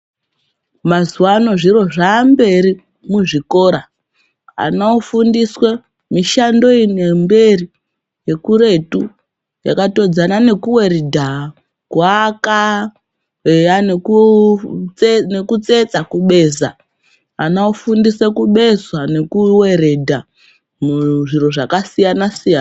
Mazuwa ano zviro zvaamberi muzvikora anofundiswe mishando iyi nemberi ngekuretu yakatodzana nekuweredha, kuaka, eyanekutsetsa, kubeza, anofundise kubeza nekuweredha muzviro zvakasiyana siyana.